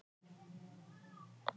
Járngrímur, læstu útidyrunum.